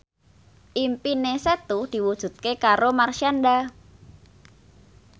impine Setu diwujudke karo Marshanda